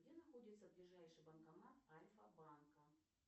где находится ближайший банкомат альфа банка